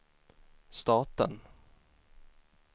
staten